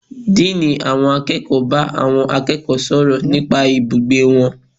Dean àwọn akẹ́kọ̀ọ́ bá àwọn akẹ́kọ̀ọ́ sọ̀rọ̀ nípa ibùgbé wọn.